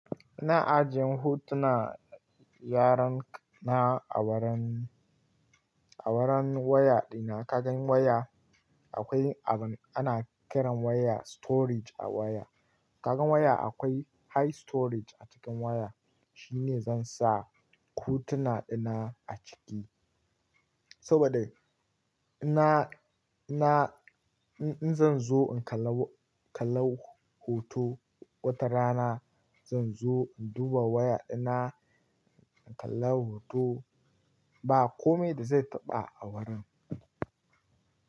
Ina ajiye hotuna yaran na a wuran, a wuran waya dina. Ka gan waya? Akwai abin ana kiran waya storage a waya. Ka gan waya akwai high storage a cikin waya. Shine zan sa hutona dina a ciki. Saboda ina, ina, in, in zan zo in kalla, kalla hoto wata rana, zan zo in duba waya dina, in kalla hoto. Ba kome da zai taɓa a wurin.